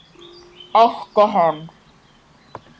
æpti hann.